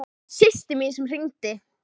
Það var systir mín sem hringdi.